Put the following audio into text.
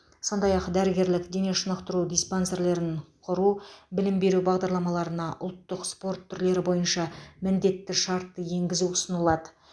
сондай ақ дәрігерлік дене шынықтыру диспансерлерін құру білім беру бағдарламаларына ұлттық спорт түрлері бойынша міндетті шартты енгізу ұсынылады